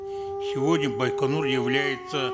сегодня байконур является